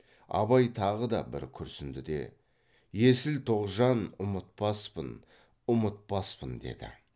абай тағы да бір күрсінді де есіл тоғжан ұмытпаспын ұмытпаспын деді